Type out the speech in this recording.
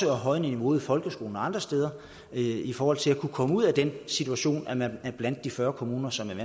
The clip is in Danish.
højne niveauet i folkeskolen og andre steder i forhold til at komme ud af den situation at man er blandt de fyrre kommuner som er